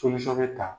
bɛ ta